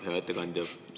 Hea ettekandja!